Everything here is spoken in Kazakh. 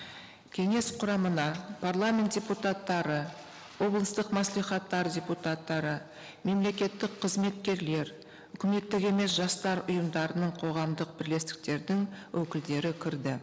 кеңес құрамына парламент депутаттары облыстық мәслихаттар депутаттары мемлекеттік қызметкерлер үкіметтік емес жастар ұйымдарының қоғамдық бірлестіктердің өкілдері кірді